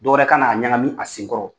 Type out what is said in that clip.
Dɔ wɛrɛ ka n'a ɲagami a senkɔrɔ!